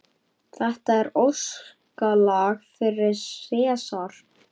Þetta er óskalag fyrir Sesar.